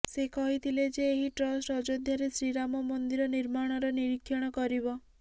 ସେ କହିଥିଲେ ଯେ ଏହି ଟ୍ରଷ୍ଟ ଅଯୋଧ୍ୟାରେ ଶ୍ରୀରାମ ମନ୍ଦିର ନିର୍ମାଣର ନିରୀକ୍ଷଣ କରିବ